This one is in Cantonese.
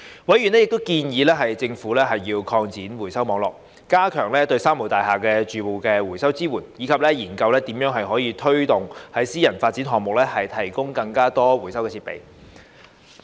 委員亦建議政府擴展回收網絡、加強對"三無大廈"住戶的回收支援，以及研究如何推動在私人發展項目提供更多回收設備。